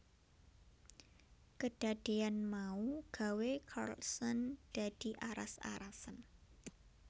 Kedadeyan mau gawé Carlson dadi aras arasen